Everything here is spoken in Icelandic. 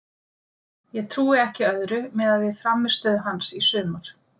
Ég trúi ekki öðru miðað við frammistöðu hans í sumar.